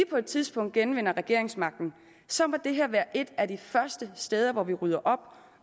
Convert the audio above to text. på et tidspunkt genvinder regeringsmagten så må det her være et af de første steder hvor de rydder op